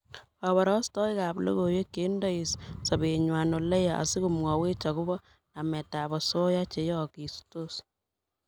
Koborostoikab logoiwek che indei sobengwai oleya asikomwowech agobo nametab osoya cheyookistos